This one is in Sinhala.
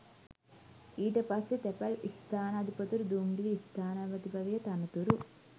ඊට පස්සෙ තැපැල් ස්ථානාධිපතිවරු දුම්රිය ස්ථානාධිපති වගේ තනතුරු